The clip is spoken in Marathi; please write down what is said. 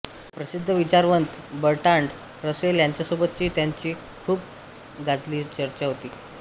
प्रसिद्ध विचारवंत बर्ट्रांड रसेल यांच्यासोबतची त्यांंची चर्चा खूप गाजली होती